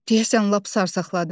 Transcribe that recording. Deyəsən lap sarsaqladım.